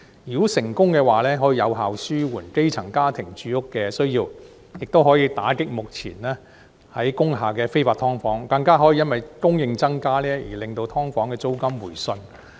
如果成功的話，可以有效紓緩基層家庭的住屋需要，亦可以打擊目前工廈的非法"劏房"，更可以因增加供應而令"劏房"租金回順。